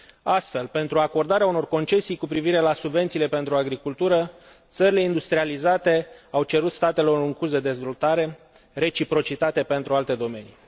Astfel, pentru acordarea unor concesii cu privire la subvențiile pentru agricultură, țările industrializate au cerut statelor în curs de dezvoltare reciprocitate pentru alte domenii.